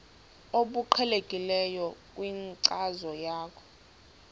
obuqhelekileyo kwinkcazo yakho